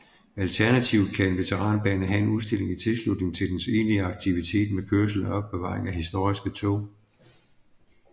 Alternativt kan en veteranbane have en udstilling i tilslutning til dens egentlige aktivitet med kørsel og opbevaring af historiske tog